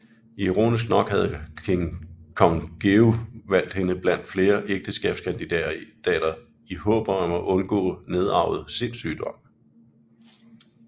Ironisk nok havde kong Georg valgt hende blandt flere ægteskabskandidater i håb om at undgå nedarvet sindssygdom